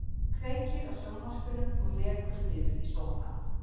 Kveikir á sjónvarpinu og lekur niður í sófann.